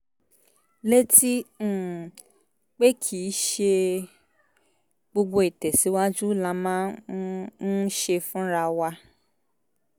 létí um pé kì í ṣe gbogbo ìtẹ̀síwájú la máa um ń ṣe fúnra wa